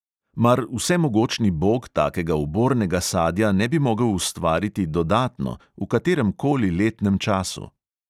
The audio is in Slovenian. Mar vsemogočni bog takega ubornega sadja ne bi mogel ustvariti dodatno, v katerem koli letnem času?